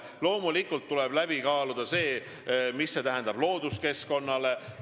Loomulikult tuleb läbi kaaluda ka see, mida see tähendab looduskeskkonnale.